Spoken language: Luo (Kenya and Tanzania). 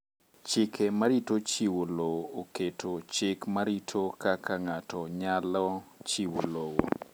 Chike marito chiwo lowo oketo chik marito kaka ng'ato nyalo chiwo lowo